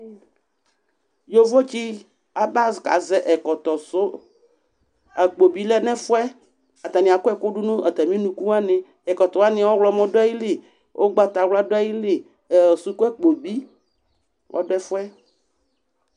Yovotsɩ abakazɛ ɛkɔtɔ sʋ Akpo bɩ lɛ nʋ ɛfʋ yɛ, atanɩ akɔ ɛkʋ dʋ nʋ atamɩ unuku wanɩ Ɛkɔtɔ wanɩ ɔɣlɔmɔ dʋ ayili, ʋgbatawla dʋ ayili, ɛ sukuakpo bɩ ɔdʋ ɛfʋ yɛ